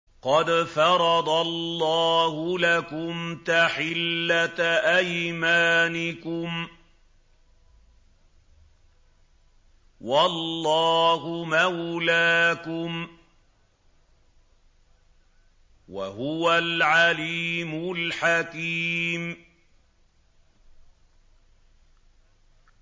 قَدْ فَرَضَ اللَّهُ لَكُمْ تَحِلَّةَ أَيْمَانِكُمْ ۚ وَاللَّهُ مَوْلَاكُمْ ۖ وَهُوَ الْعَلِيمُ الْحَكِيمُ